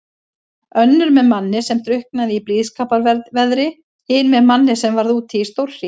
Önnur með manni sem drukknaði í blíðskaparveðri, hin með manni sem varð úti í stórhríð.